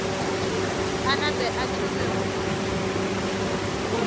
a nape a thome go